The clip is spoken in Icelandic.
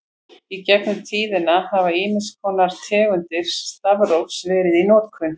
Í gegnum tíðina hafa ýmiss konar tegundir stafrófs verið í notkun.